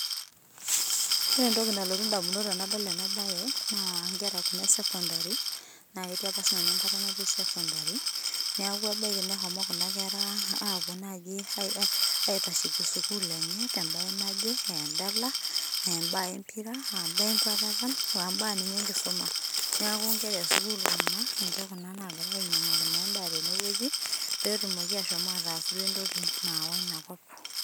Ore entoki nalotu indamunot tenadol enabae, naa inkera kuna e secondary, naketii apa sinanu enkata natii secondary, neeku ebaiki neshomo kuna kera apuo naji aitasheki sukuul enye tebae naje, eedala, abaa empira, abaa enkwatata, ombaa ninye enkisuma. Neeku inkera sukuul kuna, ninche kuna nagirai ainyang'aki naa endaa tenewueji, petumoki ashomo ataas duo entoki naawa inakop.